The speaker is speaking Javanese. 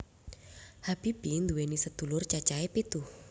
Habibie nduwèni sedulur cacahe pitu